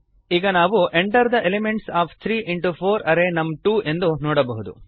ಈಗ ನಾವು enter the elements of three into four array ನಮ್2 ಎಂದು ನೋಡಬಹುದು